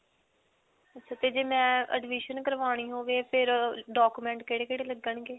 ਅੱਛਾ ਤੇ ਜੇ ਮੈਂ admission ਕਰਵਾਉਣੀ ਹੋਵੇ ਫਿਰ document ਕਿਹੜੇ-ਕਿਹੜੇ ਲੱਗਣਗੇ?